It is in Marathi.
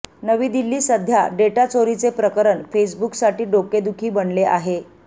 नवी दिल्ली सध्या डेटा चोरीचे प्रकरण फेसबुकसाठी डोकेदुखी बनले आहे